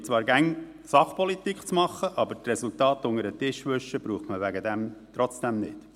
Die BDP versucht zwar immer Sachpolitik zu machen, aber die Resultate unter den Tisch zu wischen, braucht man deswegen trotzdem nicht.